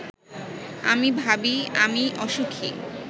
আমি ভাবি-আমি অসুখী